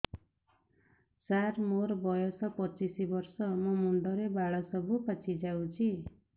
ସାର ମୋର ବୟସ ପଚିଶି ବର୍ଷ ମୋ ମୁଣ୍ଡରେ ବାଳ ସବୁ ପାଚି ଯାଉଛି